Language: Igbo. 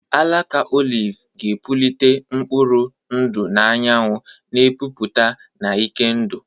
Alaka oliv ga-epulite mkpụrụ ndụ anyanwụ, na-epupụta na ike ndụ.